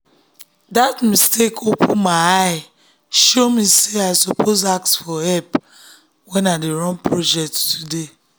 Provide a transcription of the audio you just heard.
that mistake open my eye show me say i suppose ask for help when i dey run project today.